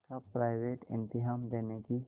का प्राइवेट इम्तहान देने की